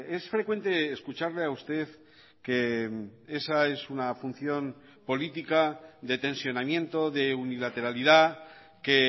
es frecuente escucharle a usted que esa es una función política de tensionamiento de unilateralidad que